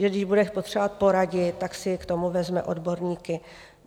Že když bude potřebovat poradit, tak si k tomu vezme odborníky.